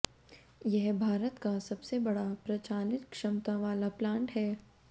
यह भारत का सबसे बड़ा प्रचालित क्षमता वाला प्लांट है